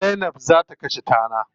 Zainab za ta kashe tana.